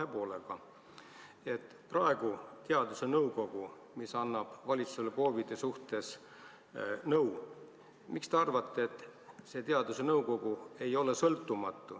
Esiteks: miks te arvate, et teadusnõukoda, mis annab valitsusele COVID-i suhtes nõu, ei ole sõltumatu?